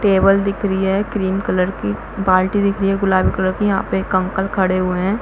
Table दिख रही है क्रीम कलर की बाल्टी दिख रही है गुलाबी कलर की यहाँ पे एक अंकल खड़े हुए है।